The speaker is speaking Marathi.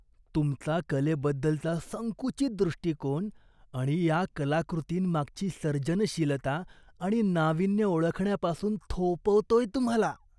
तुमचा कलेबद्दलचा संकुचित दृष्टिकोन या कलाकृतींमागची सर्जनशीलता आणि नाविन्य ओळखण्यापासून थोपवतोय तुम्हाला.